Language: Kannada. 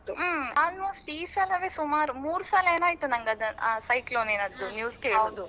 ಹ್ಮ್ almost ಈ ಸಲವೇ ಸುಮಾರು ಮೂರು ಸಲ ಏನೋ ಆಯ್ತು ಅದು ಆ cyclone ನಿನದ್ದು news ಕೇಳುದು.